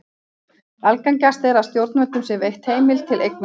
Algengast er að stjórnvöldum sé veitt heimild til eignarnáms.